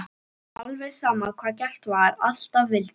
Alveg sama hvað gert var, alltaf vildi